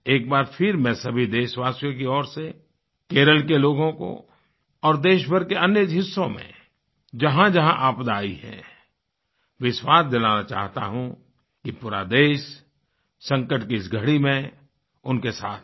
एक बार फिर मैं सभी देशवासियों की ओर से केरल के लोगों को और देशभर के अन्य हिस्सों में जहाँजहाँ आपदा आई है विश्वास दिलाना चाहता हूँ कि पूरा देश संकट की इस घड़ी में उनके साथ है